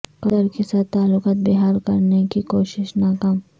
قطر کے ساتھ تعلقات بحال کرنے کی کوشش ناکام